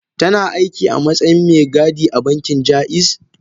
Tana aiki matsayin me gadi a bankin jaiz?